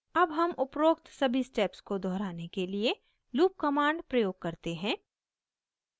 अब हम उपरोक्त सभी steps को दोहराने के लिए loop command प्रयोग करते हैं